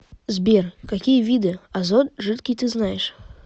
сбер какие виды азот жидкий ты знаешь